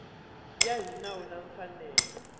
ya hi nawu na mfanelo